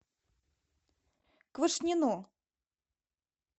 квашнину